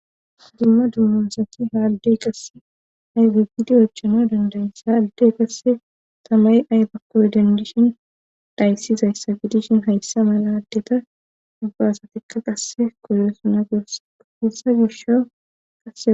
Dumma dumma asati haaldey qasse aybigidi ochano dandayssa alde qasse tamay aybakkoy dandishin dhayssizayssa gidishin hayssa mala addeta dubba asatikka qasse koyosana gursa ahfessa gisho kaea.